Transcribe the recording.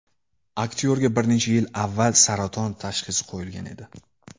Aktyorga bir necha yil avval saraton tashxisi qo‘yilgan edi.